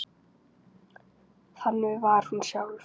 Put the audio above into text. Þannig var hún sjálf.